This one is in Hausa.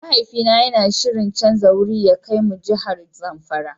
Mahaifi na yana shirin canza wuri ya kai mu jihar zamfara.